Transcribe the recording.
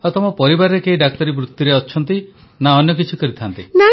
ଆଉ ତମ ପରିବାରର କେହି ଡାକ୍ତରୀ ବୃତିରେ ଅଛନ୍ତି ନା ଅନ୍ୟ କିଛି କରନ୍ତି